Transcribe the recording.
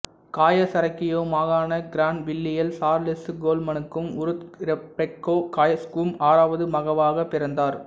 காயேசரோகியோ மாகாணக் கிரான்வில்லியில் சார்லசு கோல்மனுக்கும் உரூத் இரெபேக்கா காயேசுவுக்கும் ஆறாவது மகவாகப் பிறந்தார்